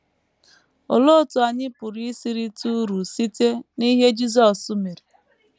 Olee otú anyị pụrụ isi rite uru site n’ihe Jisọs mere?